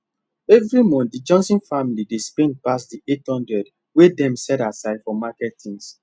every month the johnson family dey spend pass the 800 wey dem set aside for market things